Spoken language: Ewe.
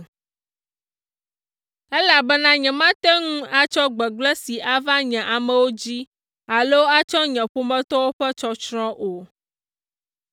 elabena nyemate ŋu atsɔ gbegblẽ si ava nye amewo dzi alo atsɔ nye ƒometɔwo ƒe tsɔtsrɔ̃ o.”